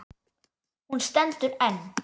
Hún stendur enn.